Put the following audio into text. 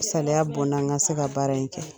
Salaya bɔ n na ,.n ka se ka baara in kɛ.